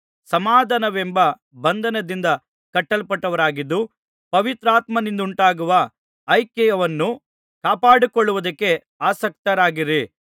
ಸಮಾಧಾನವೆಂಬ ಬಂಧನದಿಂದ ಕಟ್ಟಲ್ಪಟ್ಟವರಾಗಿದ್ದು ಪವಿತ್ರಾತ್ಮನಿಂದುಂಟಾಗುವ ಐಕ್ಯವನ್ನು ಕಾಪಾಡಿಕೊಳ್ಳುವುದಕ್ಕೆ ಆಸಕ್ತರಾಗಿರಿ